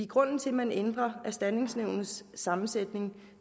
grunden til at man ændrer erstatningsnævnets sammensætning